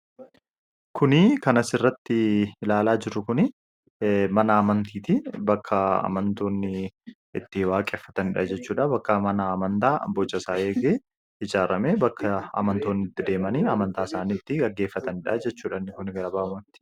kuni kanasirratti ilaalaa jirru kun mana amantiiti bakka amantoonni itti waaqeffatanidha jechuudha bakka mana amantaa boca isaa eegee ijaarame bakka amantoonni itti deemanii amantaa isaanii itti gaggeeffatanidha jechuudha kun gala baaamatti